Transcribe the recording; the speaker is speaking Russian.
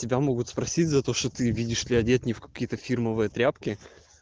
тебя могут спросить за то что ты видишь ли одет не в какие-то фирмовые тряпки